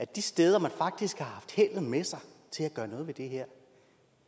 de steder man faktisk har haft heldet med sig til at gøre noget ved det her